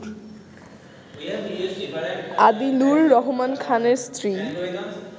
আদিলুর রহমান খানের স্ত্রী